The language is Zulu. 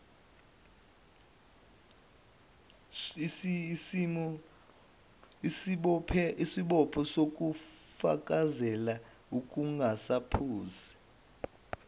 isibopho sokufakazela ukungaphusi